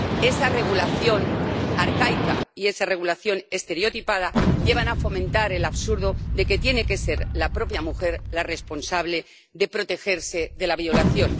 Esa regulación arcaica y esa regulación estereotipada llevan a fomentar el absurdo de que tiene que ser la propia mujer la responsable de protegerse de la violación.